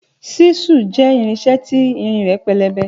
Ṣisu jẹ ìrínsẹ ti ìrín rẹ pẹlẹbẹ